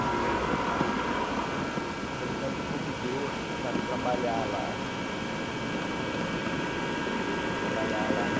E ele, então, me convidou para trabalhar lá – e eu era criança ainda – para trabalhar lá na